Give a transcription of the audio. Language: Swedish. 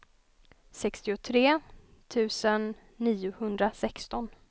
sextiotre tusen niohundrasexton